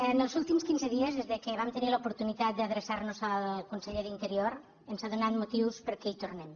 en els últims quinze dies des que vam tenir l’oportunitat d’adreçar nos al conseller d’interior ens ha donat motius perquè hi tornem